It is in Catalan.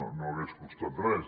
no hagués costat res